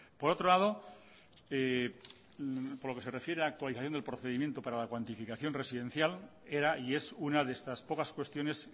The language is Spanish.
por otro lado por lo que se refiere a la actualización del procedimiento para la cuantificación residencial era y es una de estas pocas cuestiones